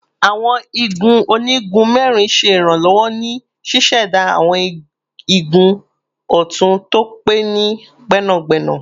Awọn igun onigun mẹrin ṣe iranlọwọ ni ṣiṣẹda awọn igun ọtun to pe ni gbẹnagbẹna